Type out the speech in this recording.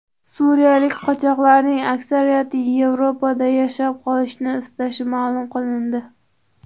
Suriyalik qochoqlarning aksariyati Yevropada yashab qolishni istashi ma’lum qilindi.